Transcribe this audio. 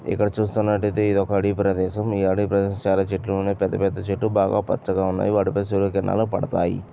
ఇక్కడ చూస్తున్నటైతే ఇది ఒక అడవి ప్రదేశం. ఈ అడవి ప్రదేశంలో చాలా చెట్లున్నాయి. పెద్ద పెద్ద చెట్లు బాగా పచ్చగా ఉన్నాయి. వాటి పైన సూర్యకిరణాలు పడతాయి.